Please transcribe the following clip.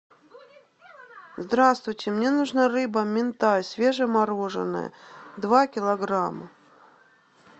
здравствуйте мне нужна рыба минтай свежемороженная два килограмма